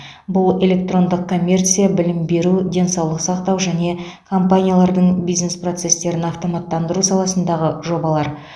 бұл электрондық коммерция білім беру денсаулық сақтау және компаниялардың бизнес процестерін автоматтандыру саласындағы жобалар